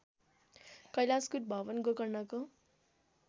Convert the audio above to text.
Kailashkut Bhawan गोकर्णको